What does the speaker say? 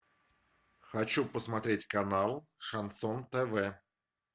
хочу посмотреть канал шансон тв